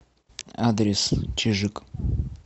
адрес чижик